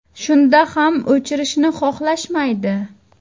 Shunda ham o‘chirishni xohlashmaydi.